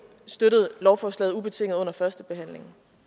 støttede lovforslaget ubetinget under førstebehandlingen